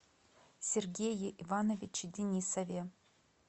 сергее ивановиче денисове